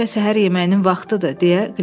hələlik isə səhər yeməyinin vaxtıdır,